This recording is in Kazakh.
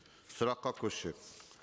сұраққа көшсек